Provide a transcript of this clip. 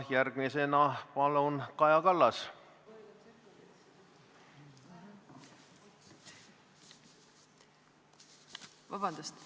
Järgmisena palun Kaja Kallas!